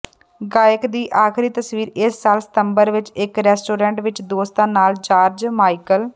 ਗਾਇਕ ਦੀ ਆਖਰੀ ਤਸਵੀਰ ਇਸ ਸਾਲ ਸਤੰਬਰ ਵਿਚ ਇਕ ਰੈਸਟੋਰੈਂਟ ਵਿਚ ਦੋਸਤਾਂ ਨਾਲ ਜਾਰਜ ਮਾਈਕਲ